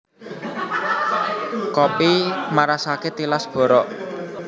Kopi marasake tilas borok